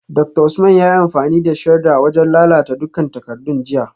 Dr Usman yayi amfani da shredder wajen lalata dukkan takardun jiya